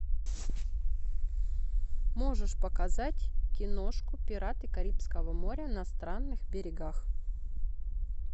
можешь показать киношку пираты карибского моря на странных берегах